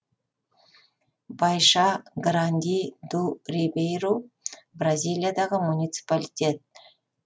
байша гранди ду рибейру бразилиядағы муниципалитет